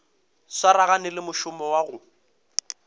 swaragane le mošomo wa go